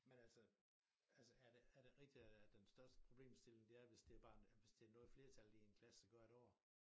Men altså altså er det er det rigtigt at den største problemstilling det er hvis det barn hvis det noget flertallet i en klasse gør et år